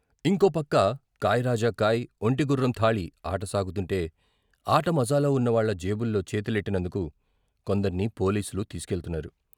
ఇంకోపక్క "కాయ్ రాజా కాయ్, ఒంటె, గుర్రం థాళీ " ఆట సాగుతుంటే, ఆట మజాలో ఉన్న వాళ్ళ జేబుల్లో చేతులెట్టినందుకు కొందర్ని పోలీసులు తీసుకెళ్తున్నారు.